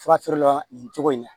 Fura feerela nin cogo in na